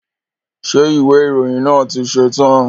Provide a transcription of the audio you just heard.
Ṣé ìwé ìròyìn náà ti ṣetán?